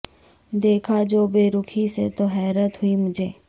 دیکھا جو بے رخی سے تو حیرت ہوئی مجھے